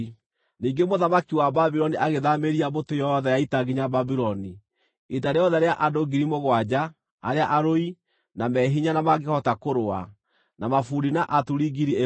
Ningĩ mũthamaki wa Babuloni agĩthaamĩria mbũtũ yothe ya ita nginya Babuloni; ita rĩothe rĩa andũ 7,000 arĩa arũi, na me hinya na mangĩhota kũrũa, na mabundi na aturi 1,000.